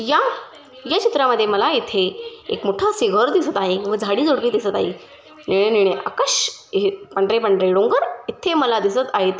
या या चित्रामध्ये मला एथे एक मोठसे घर दिसत आहे व झाडी झुडपे दिसत आहे हे निळे निळे आकाश हे पांढरे पांढरे डोंगर इथे मला दिसत आहेत.